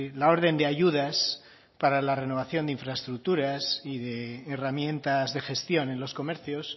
la orden de ayudas para la renovación de infraestructuras y de herramientas de gestión en los comercios